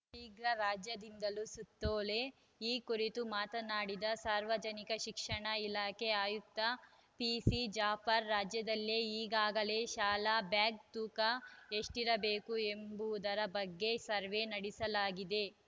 ಶೀಘ್ರ ರಾಜ್ಯದಿಂದಲೂ ಸುತ್ತೋಲೆ ಈ ಕುರಿತು ಮಾತನಾಡಿದ ಸಾರ್ವಜನಿಕ ಶಿಕ್ಷಣ ಇಲಾಖೆ ಆಯುಕ್ತ ಪಿಸಿ ಜಾಫರ್‌ ರಾಜ್ಯದಲ್ಲಿ ಈಗಾಗಲೇ ಶಾಲಾ ಬ್ಯಾಗ್‌ ತೂಕ ಎಷ್ಟಿರಬೇಕು ಎಂಬುದರ ಬಗ್ಗೆ ಸರ್ವೆ ನಡೆಸಲಾಗಿದೆ